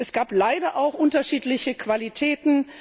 Es gab leider auch unterschiedliche Qualitäten.